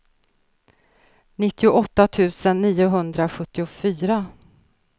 nittioåtta tusen niohundrasjuttiofyra